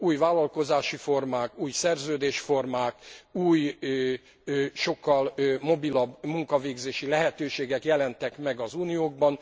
Új vállalkozási formák, új szerződésformák, új, sokkal mobilabb munkavégzési lehetőségek jelentek meg az Unióban.